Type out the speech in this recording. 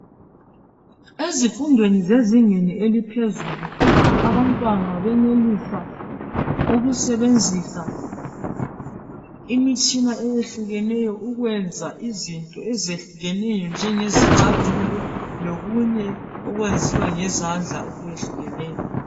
Ezifundweni zezingeni eliphezulu abantwana benelisa ukusebenzisa imitshina eyehlukeneyo ukwenza izinto ezehlukeneyo njengezicathulo lokunye okwenziwa ngezandla okwehlukeneyo.